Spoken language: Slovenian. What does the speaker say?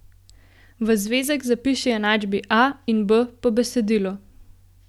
V zvezek zapiši enačbi A in B po besedilu.